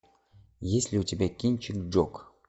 есть ли у тебя кинчик джок